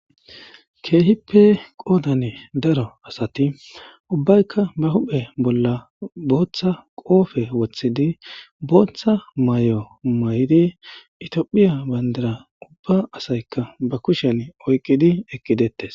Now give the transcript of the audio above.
keehippe qoodane daro asati ubbaykka ba huphe bolla booththa qoofe woththidi booththa may7o may7di itoophiya bayndira ubba asaykka ba kushen oyqqidi ekkidettes